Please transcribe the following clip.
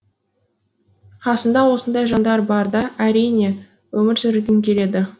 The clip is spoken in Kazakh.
қасыңда осындай жандар барда әрине өмір сүргің келеді